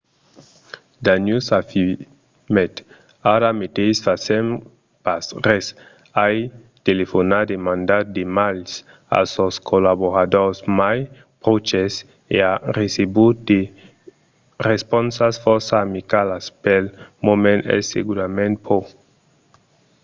danius afirmèt: ara meteis fasèm pas res. ai telefonat e mandat d'emails a sos collaboradors mai pròches e ai recebut de responsas fòrça amicalas. pel moment es segurament pro.